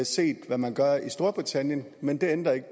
set hvad man gør i storbritannien men det ændrer ikke